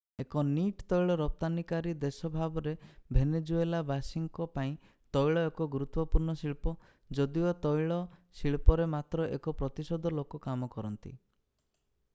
ଏକ ନିଟ୍ ତୈଳ ରପ୍ତାନିକାରୀ ଦେଶ ଭାବରେ ଭେନେଜୁଏଲାବାସୀଙ୍କ ପାଇଁ ତୈଳ ଏକ ଗୁରୁତ୍ଵପୂର୍ଣ୍ଣ ଶିଳ୍ପ ଯଦିଓ ତୈଳ ଶିଳ୍ପରେ ମାତ୍ର ଏକ ପ୍ରତିଶତ ଲୋକ କାମ କରନ୍ତି